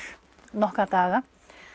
nokkra daga